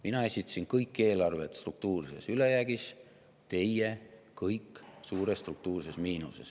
Mina esitasin kõik eelarved struktuurses ülejäägis, teie aga kõik suures struktuurses miinuses.